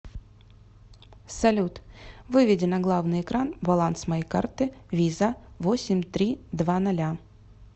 салют выведи на главный экран баланс моей карты виза восемь три два ноля